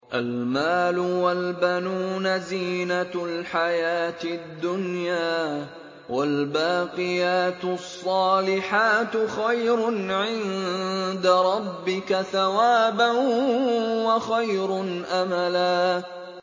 الْمَالُ وَالْبَنُونَ زِينَةُ الْحَيَاةِ الدُّنْيَا ۖ وَالْبَاقِيَاتُ الصَّالِحَاتُ خَيْرٌ عِندَ رَبِّكَ ثَوَابًا وَخَيْرٌ أَمَلًا